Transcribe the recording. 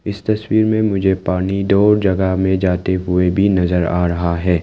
इस तस्वीर में मुझे पानी दो जगह में जाते हुए भी नजर आ रहा है।